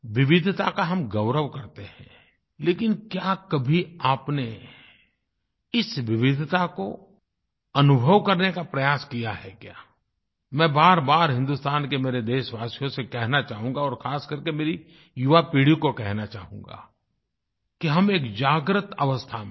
विविधता का हम गौरव करते हैं लेकिन क्या कभी आपने इस विविधता को अनुभव करने का प्रयास किया है क्या मैं बारबार हिंदुस्तान के मेरे देशवासियों से कहना चाहूँगा और ख़ास करके मेरी युवापीढ़ी को कहना चाहूँगा कि हम एक जागृतअवस्था में हैं